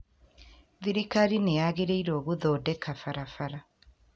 Thirikari nĩ yagĩrairwo gũthondeka barabara